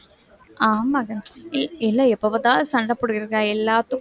ஆமாக்கா எல்லாம் எப்ப பார்த்தாலும் சண்டை போட்டுட்டிருக்காங்க எல்லாத்துக்கும்